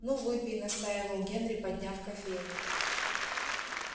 ну выпей настаивал генри подняв кофейник